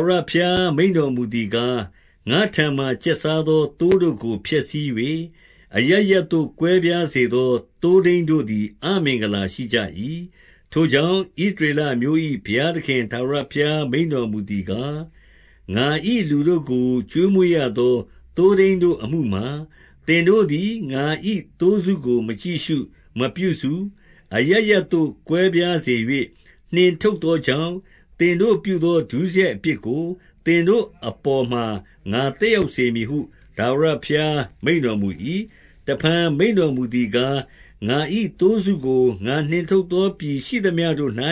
ဝရဘုရားမိန့်တော်မူသည်ကား၊ ငါ့ထံမှာ ကျက်စားသော သိုးတို့ကို ဖျက်ဆီး၍၊ အရပ်ရပ်သို့ ကွဲပြား စေသော သိုးထိန်းတို့သည် အမင်္ဂလာရှိကြ၏။ ထိုကြောင့်၊ ဣသရေလအမျိုး၏ ဘုရားသခင် ထာဝရဘုရား မိန့်တော်မူသည်ကား၊ ငါ၏ လူတို့ကို ကျွေးမွေးရသော သိုးထိန်းတို့အမှုမှာ သင်တို့သည် ငါ၏ သိုးစုကို မကြည့်ရှု၊ မပြုစု၊ အရပ်ရပ်သို့ ကွဲပြားစေ၍ နှင်ထုတ်သောကြောင့်၊ သင်တို့ပြုသော ဒုစရိုက်အပြစ်ကို သင်တို့အပေါ်မှာ ငါသက်ရောက်စေမည်ဟု ထာဝရ ဘုရားမိန့်တော်မူ၏။ တဖန်မိန့်တော်မူသည်ကား၊ ငါ၏သိုးစုကို ငါနှင်ထုတ်သော ပြည်ရှိသမျှတို့၌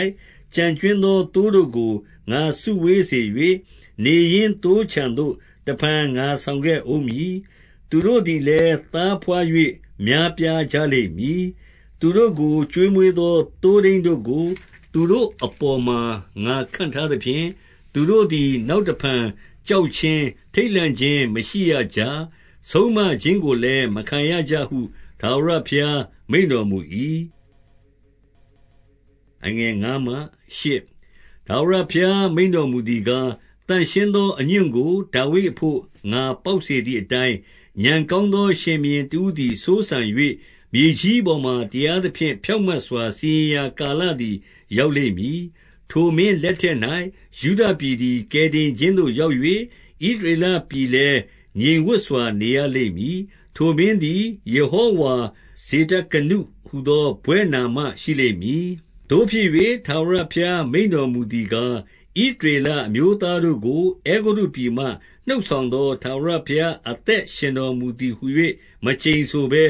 ကျန်ကြွင်းသော သိုး တို့ကို ငါစုဝေး၍၊ နေရင်းသိုးခြံသို့ တဖန်ငါဆောင်ခဲ့ ဦးမည်။ သူတို့သည်လည်း၊ သားဘွား၍ များပြားကြလိမ့် မည်။ သူတို့ကို ကျွေးမွေးသော သိုးထိန်းတို့ကို သူတို့ အပေါ်မှာ ငါခန့်ထားသဖြင့်၊ သူတို့သည် နောက်တဖန် ကြောက်ခြင်း၊ ထိတ်လန့်ခြင်းမရှိ ရကြ။ ဆုံးမခြင်းကိုလည်း မခံရကြဟု ထာဝရဘုရား မိန့်တော်မူ၏။ ထာဝရဘုရား မိန့်တော်မူသည်ကား၊ သန့်ရှင်း သော အညွန့်ကို ဒါဝိဒ်အဘို့ ငါပေါက်စေသည်အတိုင်း၊ ဥာဏ်ကောင်းသောရှင်ဘုရင်တဦးသည် စိုးစံ၍၊ မြေကြီး ပေါ်မှာ တရားသဖြင့် ဖြောင့်မတ်စွာ စီရင်ရာ ကာလ သည် ရောက်လိမ့်မည်။ ထိုမင်းလက်ထက်၌ ယုဒပြည်သည် ကယ်တင် ခြင်းသို့ရောက်၍၊ ဣသရေလပြည်လည်း ငြိမ်ဝပ်စွာ နေရ လိမ့်မည်။ ထိုမင်းသည် ယေဟောဝါဇေဒကနုဟူသော ဘွဲ့နာမရှိလိမ့်သတည်း။ သို့ဖြစ်၍၊ ထာဝရဘုရားမိန့်တော်မူသည်ကား၊ ဣသရေလအမျိုးသားတို့ကို အဲဂုတ္တုပြည်မှ နှုတ်ဆောင် သော ထာဝရဘုရားအသက်ရှင်တော်မူသည်ဟူ၍ မကျိန်ဆိုဘဲ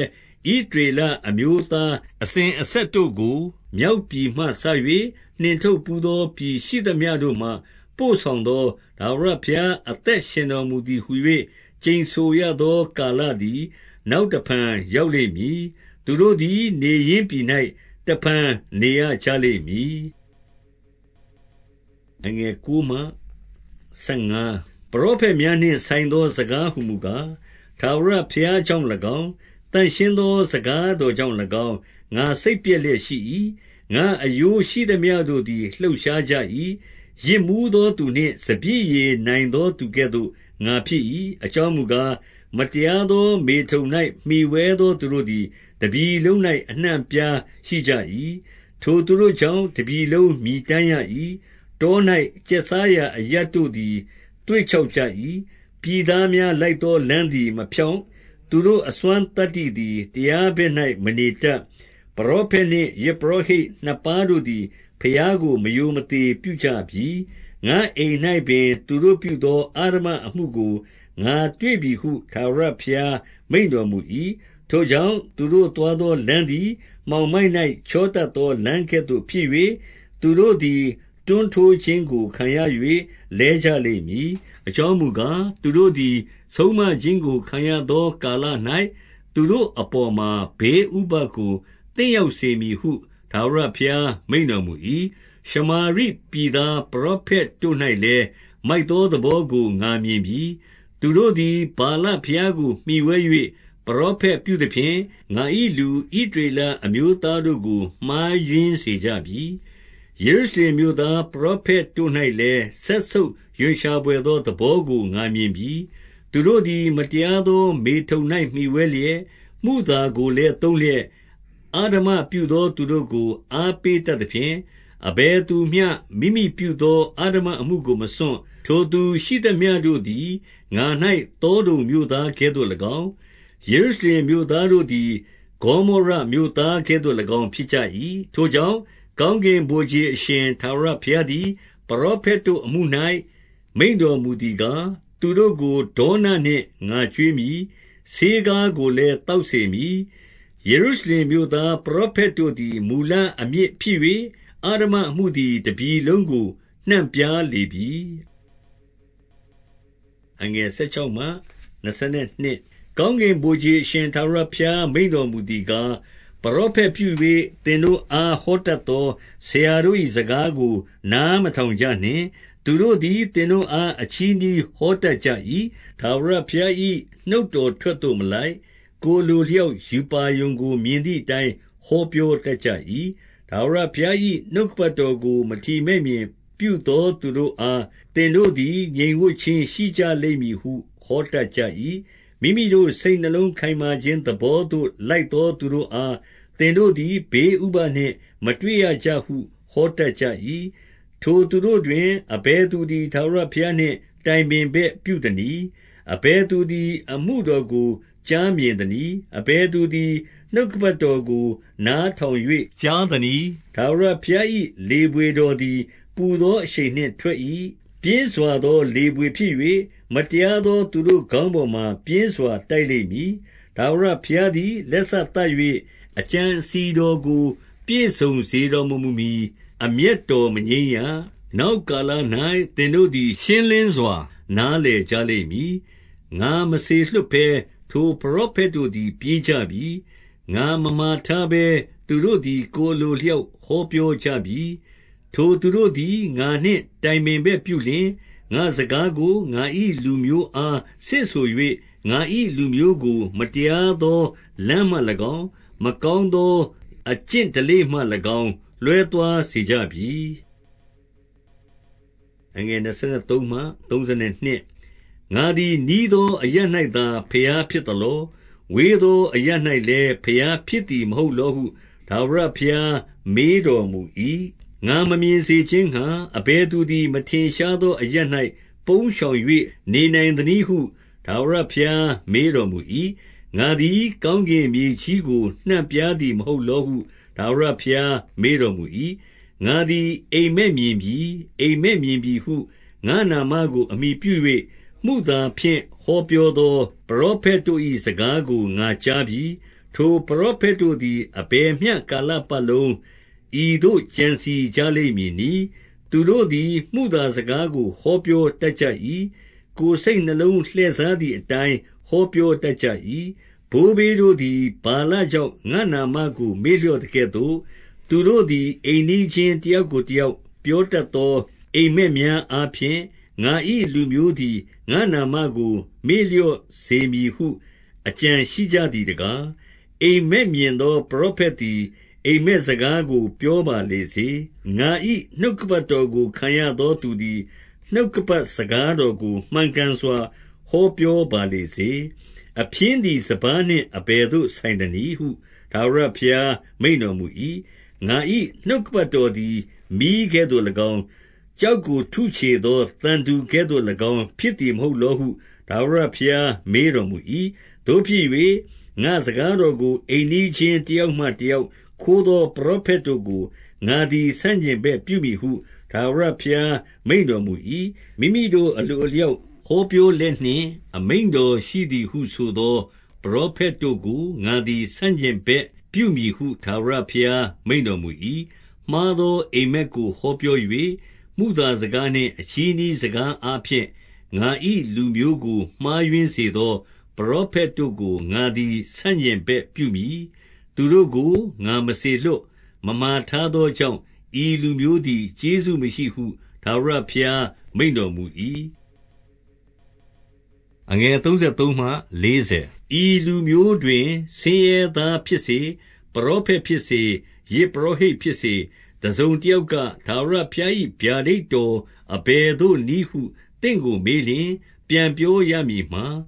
၊ ဣသရေလအမျိုးသား အစဉ်အဆက်တို့ကို မြောက်ပြည်မှစ၍၊ နှင့်ထုတ်ဘူးသော ပြည်ရှိသမျှတို့မှ ပို့ဆောင်သော ထာဝရဘုရား အသက်ရှင်တော်မူသည် ဟူ၍ ကျိန်ဆိုရသော ကာလသည် နောက်တဖန် ရောက် လိမ့်မည်။ သူတို့သည် နေရင်းပြည်၌ တဖန် နေရကြ လိမ့်မည်။ ပရောဖက်များနှင့် ဆိုင်သော စကားဟူမူကား၊ ထာဝရဘုရားကြောင့်၎င်း၊ သန့်ရှင်းသော စကားတော် ကြောင့်၎င်း ငါ့စိတ်ပျက်လျက်ရှိ၏။ ငါ့အရိုးရှိသမျှတို့သည် လှုပ်ရှားကြ၏။ ယစ်မူးသောသူနှင့် စပျစ်ရည်နိုင်သော သူကဲ့သို့ ငါဖြစ်၏။ အကြောင်းမူကား၊ မတရားသော မေထုန်၌မှီဝဲ သောသူတို့သည် တပြည်လုံး၌ အနှံ့အပြားရှိကြ၏။ ထိုသူတို့ကြောင့် တပြည်လုံးမြည်တမ်းရ၏။ တော၌ ကျက်စားရာအရပ်တို့သည် သွေ့ခြောက်ကြ၏။ ပြည်သား များလိုက်သောလမ်းသည် မဖြောင့်၊ သူတို့အစွမ်းသတ္တိ သည် တရားဘက်၌ မနေတတ်။ ပရောဖက်နှင့်ယဇ်ပုရောဟိတ်နှစ်ပါးတို့သည် ဘုရားကို မရိုမသေပြုကြပြီ။ ငါ့အိမ်၌ပင် သူတို့ပြုသော အဓမ္မအမှုကို ငါတွေ့ပြီဟု ထာဝရဘုရား မိန့်တော်မူ၏။ ထိုကြောင့်၊ သူတို့သွားသောလမ်းသည် မှောင်မိုက်၌ ချောတတ်သော လမ်းကဲ့သို့ဖြစ်၍၊ သူတို့သည် တွန်းတိုးခြင်းကို ခံရ၍ လဲကြလိမ့်မည်။ အကြောင်းမူကား၊ သူတို့သည် ဆုံးမခြင်းကို ခံရသော ကာလ၌ သူတို့အပေါ်မှာ ဘေးဥပဒ်ကို သင့်ရောက် စေမည်ဟု ထာဝရဘုရား မိန့်တော်မူ၏။ ရှမာရိပြည်သား ပရောဖက်တို့၌လည်း၊ မိုက် သောသဘောကို ငါမြင်ပြီ။ သူတို့သည် ဗာလဘုရားကို မှီဝဲ၍ ပရောဖက်ပြုသဖြင့်၊ ငါ၏လူ ဣသရေလ အမျိုးသားတို့ကို မှားယွင်းစေကြပြီ။ ယေရုရှလင်မြို့သား ပရောဖက်တို့၌လည်း၊ စက်ဆုပ်ရွံရှာဘွယ်သောသဘောကို ငါမြင်ပြီ။ သူတို့သည် မတရားသော မေထုန်၌မှီဝဲလျက်၊ မုသာကိုလည်း သုံးလျက်၊ အဓမ္မပြုသောသူတို့ကို အားပေးတတ်သဖြင့်၊ အဘယ်သူမျှမိမိပြုသော အဓမ္မအမှုကို မစွန့်။ ထိုသူ ရှိသမျှတို့သည် ငါ၌ သောဒုံမြို့သားကဲ့သို့၎င်း၊ ယေရု ရှလင်မြို့သားတို့သည် ဂေါမောရမြို့သားကဲ့သို့၎င်း ဖြစ်ကြ၏။ ထိုကြောင့်၊ ကောင်းကင်ဗိုလ်ခြေအရှင် ထာဝရ ဘုရားသည် ပရောဖက်တို့အမှု၌ မိန့်တော်မူသည်ကား၊ သူတို့ကို ဒေါနနှင့် ငါကျွေးမည်။ ဆေးခါးကိုလည်း သောက်စေမည်။ ယေရုရှလင်မြို့သား ပရောဖက်တို့သည် မူလအမြစ်ဖြစ်၍၊ အဓမ္မအမှုသည် တပြည်လုံးကို နှံ့ပြား လေပြီ။ ကောင်းကင်ဗိုလ်ခြေ အရှင်ထာဝရဘုရား မိန့်တော်မူသည်ကား၊ ပရောဖက်ပြု၍ သင်တို့အား ဟောတတ်သော ဆရာတို့၏ စကားကို နားမထောင် ကြနှင့်။ သူတို့သည် သင်တို့အား အချည်းနှီးဟောတတ် ကြ၏။ ထာဝရဘုရား၏ နှုတ်တော်ထွက်သို့မလိုက်၊ ကိုယ်အလိုအလျောက် ရူပါရုံကို မြင်သည်အတိုင်း ဟောပြောတတ်ကြ၏။ ထာဝရဘုရား၏ နှုတ်ကပတ်တော်ကို မထီမဲ့မြင် ပြုသော သူတို့အား၊ သင်တို့သည် ငြိမ်ဝပ်ခြင်းရှိကြ လိမ့်မည်ဟု ဟောတတ်ကြ၏။ မိမိတို့စိတ်နှလုံးခိုင်မာခြင်း သဘောသို့လိုက်သော သူတို့အား၊ သင်တို့သည် ဘေးဥပဒ် နှင့် မတွေ့ရကြဟု ဟောတတ်ကြ၏။ ထိုသူတို့တွင် အဘယ်သူသည် ထာဝရဘုရားနှင့် တိုင်ပင်ဘက်ပြုသနည်း။ အဘယ်သူသည် အမှုတော်ကို ကြားမြင်သနည်း။ အဘယ် သူသည် နှုတ်ကပတ်တော်ကို နားထောင်၍ ကြားသနည်း။ ထာဝရဘုရား၏ လေဘွေတော်သည် ပူသော အရှိန်နှင့်ထွက်၏။ ပြင်းစွာသော လေဘွေဖြစ်၍၊ မတရား သော သူတို့ခေါင်းပေါ်မှာ ပြင်းစွာ တိုက်လိမ့်မည်။ ထာဝရဘုရားသည် လက်စသတ်၍၊ အကြံ အစည်တော်ကို ပြည့်စုံစေတော်မမူမှီ အမျက်တော် မငြိမ်း ရ။ နောက်ကာလ၌ သင်တို့သည် ရှင်းလင်းစွာ နားလည် ကြလိမ့်မည်။ ငါမစေလွှတ်ဘဲ ထိုပရောဖက်တို့သည် ပြေးကြ ပြီ။ ငါမမှာထားဘဲ သူတို့သည် ကိုယ်အလိုအလျောက် ဟောပြောကြပြီ။ ထိုသူတို့သည် ငါနှင့် တိုင်ပင်ဘက်ပြုလျှင်၊ ငါ့စကားကို ငါ၏ လူမျိုးအားဆင့်ဆို၍၊ ငါ၏လူမျိုးကို မတရားသော လမ်းမှ၎င်း၊ မကောင်း သောအကျင့်ဓလေ့ မှ၎င်း လွဲသွားစေကြပြီ။ ငါသည်နီးသော အရပ်၌သာ ဘုရားဖြစ် သလော။ ဝေးသော အရပ်၌လည်း ဘုရားဖြစ်သည် မဟုတ်လောဟု ထာဝရဘုရား မေးတော်မူ၏။ ငါမမြင်စေခြင်းငှါ အဘယ်သူသည် မထင်ရှား သော အရပ်၌ ပုန်းရှောင်၍ နေနိုင်သနည်းဟု ထာဝရ ဘုရားမေးတော်မူ၏။ ငါသည် ကောင်းကင်မြေကြီးကို နှံ့ပြားသည် မဟုတ်လောဟု ထာဝရဘုရား မေးတော် မူ၏။ ငါသည် အိပ်မက်မြင်ပြီ၊ အိပ်မက်မြင်ပြီဟု၊ ငါ့နာမကို အမှီပြု၍၊ မုသာဖြင့် ဟောပြောသော ပရောဖက်တို့၏ စကားကို ငါကြားပြီ။ ထိုပရောဖက်တို့သည် အဘယ်မျှကာလပတ်လုံး ဤသို့ကြံစည် ကြလိမ့်မည်နည်း။ သူတို့သည် မုသာစကား ကို ဟောပြောတတ်ကြ၏။ ကိုယ်စိတ်နှလုံး လှည့်စားသည် အတိုင်း ဟောပြောတတ်ကြ၏။ ဘိုးဘေးတို့သည် ဗာလကြောင့် ငါ့နာမကို မေ့လျော့သကဲ့သို့၊ သူတို့သည် အိမ်နီးချင်းတယောက်ကို တယောက်ပြောတတ်သော အိပ်မက်များအားဖြင့် ငါ၏ လူမျိုးသည် ငါ့နာမကို မေ့လျော့စေမည်ဟု အကြံရှိကြ သည်တကား။ အိပ်မက်မြင်သော ပရောဖက်သည် အိပ်မက် စကားကို ပြောပါလေစေ။ ငါ၏နှုတ်ကပတ်တော်ကို ခံရ သော သူသည် နှုတ်ကပတ်စကားတော်ကို မှန်ကန်စွာ ဟောပြောပါလေစေ။ အဖျင်းသည်စပါးနှင့် အဘယ်သို့ ဆိုင်သနည်းဟု ထာဝရဘုရား မိန့်တော်မူ၏။ ငါ၏ နှုတ်ကပတ်တော်သည် မီးကဲ့သို့၎င်း၊ ကျောက်ကို ထုချေသောသံတူကဲ့သို့၎င်း ဖြစ်သည်မဟုတ် လောဟု ထာဝရဘုရား မေးတော်မူ၏။ သို့ဖြစ်၍၊ ငါ့စကားတော်ကို အိမ်နီးချင်း တယောက်မှတယောက်ခိုးသော ပရောဖက်တို့ကို ငါသည် ဆန့်ကျင်ဘက်ပြုမည်ဟု ထာဝရဘုရား မိန့်တော်မူ၏။ မိမိတို့အလိုအလျောက် ဟောပြောလျက်နှင့် အမိန့်တော်ရှိသည်ဟုဆိုသော ပရောဖက်တို့ကို ငါသည် ဆန့်ကျင်ဘက်ပြုမည်ဟု ထာဝရဘုရားမိန့်တော်မူ၏။ မှားသာအိပ်မက်ကိုဟောပြော၍၊ မုသာစကား နှင့် အချည်းနှီးစကားအားဖြင့် ငါ၏လူမျိုးကိုမှားယွင်း စေသော ပရောဖက်တို့ကို ငါသည် ဆန့်ကျင်ဘက်ပြုမည်။ သူတို့ကို ငါမစေလွှတ်၊ မမှာထားသောကြောင့်၊ ဤလူမျိုး သည် ကျေးဇူးမရှိဟု ထာဝရဘုရား မိန့်တော်မူ၏။ ဤလူမျိုးတွင် ဆင်းရဲသားဖြစ်စေ၊ ပရောဖက် ဖြစ်စေ၊ ယဇ်ပုရောဟိတ်ဖြစ်စေ၊ တစုံတယောက်က၊ ထာဝရဘုရား၏ ဗျာဒိတ်တော်အဘယ်သို့နည်းဟု သင့်ကို မေးလျှင်၊ ပြန်ပြောရမည်မှာ၊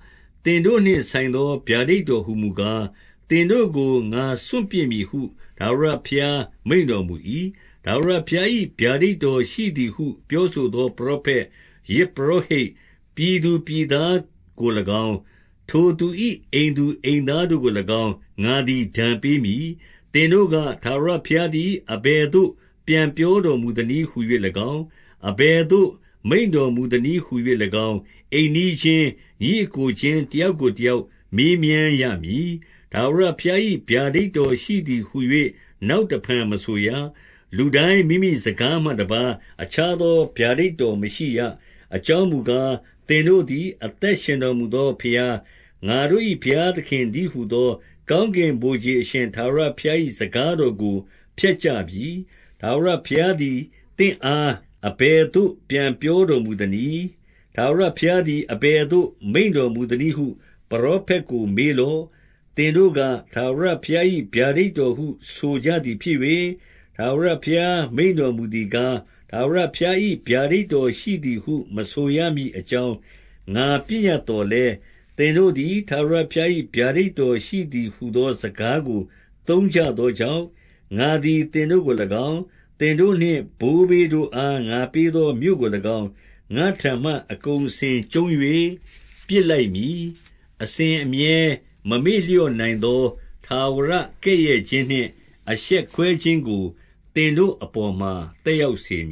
သင်တို့နှင့်ဆိုင်သော ဗျာဒိတ်တော်ဟူမူကား၊ သင်တို့ကို ငါစွန့်ပစ်မည်ဟု ထာဝရဘုရား မိန့်တော်မူ၏။ ထာဝရဘုရား၏ ဗျာဒိတ်တော်ရှိသည်ဟု ပြော ဆိုသော ပရောဖက်၊ ယဇ်ပုရောဟိတ်၊ ပြည်သူပြည်သား ကို၎င်း၊ ထိုသူ၏ အိမ်သူအိမ်သားတို့ကို၎င်း၊ ငါသည် ဒဏ်ပေးမည်။ သင်တို့က၊ ထာဝရဘုရားသည် အဘယ်သို့ ပြန်ပြောတော်မူသနည်းဟူ၍၎င်း၊ အဘယ်သို့ မိန့်တော်မူသနည်းဟူ၍၎င်း၊ အိမ်နီးချင်း၊ ညီအစ်ကို ချင်း တယောက်ကိုတယောက် မေးမြန်းရမည်။ ထာဝရဘုရား၏ ဗျာဒိတ်တော်ရှိသည်ဟူ၍ နောက်တဖန် မဆိုရ။ လူတိုင်းမိမိစကားမှတပါး အခြား သောဗျာဒိတ်တော်မရှိရ။ အကြောင်းမူကား၊ သင်တို့သည် အသက်ရှင်တော်မူသောဘုရား၊ ငါတို့၏ ဘုရားသခင် တည်းဟူသော ကောင်းကင်ဗိုလ်ခြေ အရှင်ထာဝရဘုရား ၏ စကားတော်ကို ဖျက်ကြပြီ။ ထာဝရဘုရားသည် သင့်အား အဘယ်သို့ ပြန်ပြောတော်မူသနည်း။ ထာဝရဘုရားသည် အဘယ်သို့ မိန့်တော်မူသနည်းဟု ပရောဖက်ကို မေးလော့။ သင်တို့က၊ ထာဝရဘုရား၏ ဗျာဒိတ်တော်ဟု ဆိုကြသည်ဖြစ်၍၊ ထာဝရဘုရားမိန့်တော်မူသည်ကား၊ ထာဝရဘုရား၏ ဗျာဒိတ်တော်ရှိသည်ဟု မဆိုရမည် အကြောင်း၊ ငါ ပညတ်သော်လည်း၊ သင်တို့သည် ထာဝရ ဘုရား၏ ဗျာဒိတ်တော်ရှိသည်ဟူသော စကားကို သုံးကြ သောကြောင့်၊ ငါသည် သင်တို့ကို၎င်း၊ သင်တို့နှင့် ဘိုးဘေးတို့ အား ငါပေးသော မြို့ကို၎င်း၊ ငါ့ထံမှ အကုန်အစင် ကျုံး၍ ပစ်လိုက်မည်။ အစဉ်အမြဲ မမေ့လျော့နိုင်သော ထာဝရကဲ့ရဲ့ ခြင်းနှင့် အရှက်ကွဲခြင်းကို သင်တို့အပေါ်မှာ သက်ရောက် စေမ